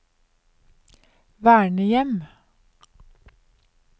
vernehjem